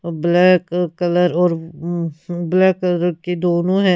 black colour और हम्म हम ब्लैक कलर की दोनों है--